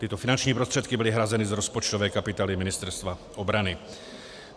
Tyto finanční prostředky byly hrazeny z rozpočtové kapitoly Ministerstva obrany.